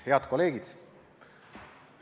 Head kolleegid!